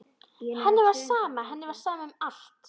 Henni var sama, henni var sama um allt.